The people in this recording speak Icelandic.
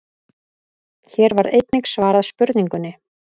Hér var einnig svarað spurningunni: